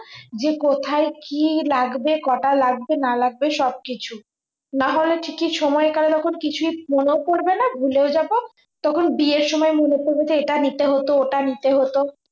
যে কোথায় কি লাগবে কটা লাগবে না লাগবে সব কিছু নাহলে ঠিকই সময়ে করার তখন কিছু মনেই পরবে না ভুলেও যাব তখন বিয়ের সময়ে মনে পরবে যে এটা নিতে হত ওটা নিতে হত